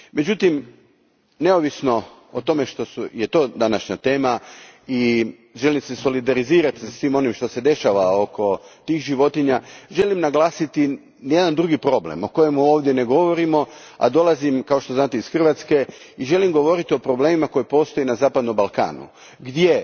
Međutim, neovisno o tome što je to današnja tema, i želim se solidarizirati sa svim onim što se dešava oko tih životinja, želim naglasiti jedan drugi problem o kojemu ovdje ne govorimo, a dolazim kao što znate iz Hrvatske, i želim govoriti o problemima koji postoje na zapadnom Balkanu gdje